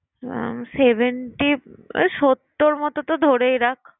ওই seventy সত্তর মত তো ধরেই রাখ